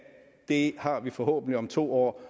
det har vi forhåbentlig om to år